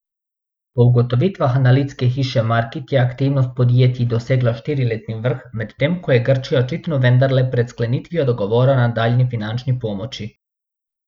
Po ugotovitvah analitske hiše Markit je aktivnost podjetij dosegla štiriletni vrh, medtem ko je Grčija očitno vendarle pred sklenitvijo dogovora o nadaljnji finančni pomoči.